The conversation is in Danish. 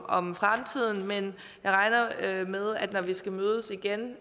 om fremtiden men jeg regner med at når vi skal mødes igen